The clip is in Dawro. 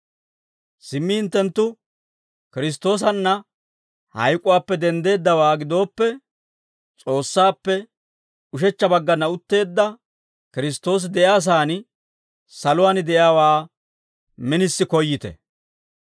Simmi hinttenttu Kiristtoosanna hayk'uwaappe denddeeddawaa gidooppe, S'oossaappe ushechcha baggana utteedda Kiristtoosi de'iyaa saan saluwaan de'iyaawaa minisi koyyite.